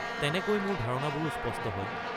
তেনেকৈ মোৰ ধাৰণাবোৰো স্পষ্ট হয়।